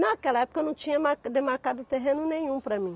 Naquela época eu não tinha marca demarcado terreno nenhum para mim.